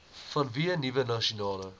vanweë nuwe nasionale